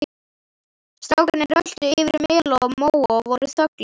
Strákarnir röltu yfir mela og móa og voru þöglir.